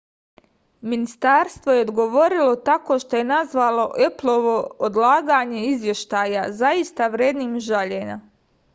ministarstvo je odgovorilo tako što je nazvalo eplovo odlaganje izveštaja zaista vrednim žaljenja